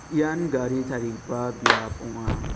ian gari tarigipa biap ong·a.